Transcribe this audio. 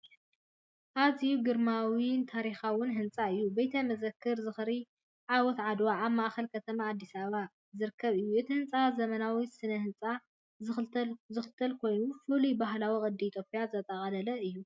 ኣዝዩ ግርማዊን ታሪኻውን ህንጻ እዩ! ቤተ መዘክር ዝኽሪ ዓወት ዓድዋ ኣብ ማእኸል ከተማ ኣዲስ ኣበባ ዝርከብ እዩ። እቲ ህንፃ ዘመናዊ ስነ ህንፃ ዝኽተል ኮይኑ ፍሉይ ባህላዊ ቅዲ ኢትዮጵያ ዘጠቓለለ እዩ።